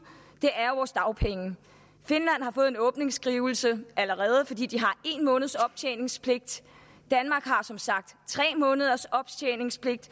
er vores dagpenge finland har fået en åbningsskrivelse allerede fordi de har en måneds optjeningspligt danmark har som sagt tre måneders optjeningspligt